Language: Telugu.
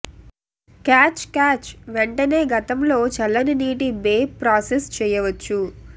క్యాచ్ క్యాచ్ వెంటనే గతంలో చల్లని నీటి బే ప్రాసెస్ చేయవచ్చు